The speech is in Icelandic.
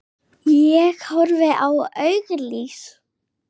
Ég horfi á auglýs